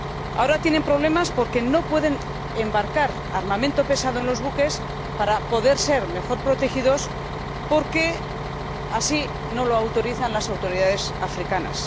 Ahora tienen problemas porque no pueden embarcar armamento pesado en los buques para ir mejor protegidos, porque no lo autorizan las autoridades africanas.